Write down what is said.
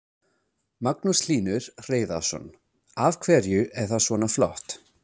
Magnús Hlynur Hreiðarsson: Af hverju er það svona flott?